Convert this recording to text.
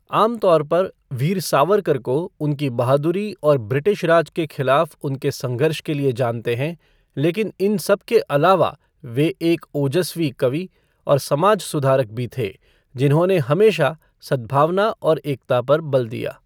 आम तौर पर वीर सावरकर को उनकी बहादुरी और ब्रिटिशराज के खिलाफ़ उनके संघर्ष के लिए जानते हैं लेकिन इन सबके अलावा वे एक ओजस्वी कवि और समाज सुधारक भी थे, जिन्होंने हमेशा सद्भावना और एकता पर बल दिया।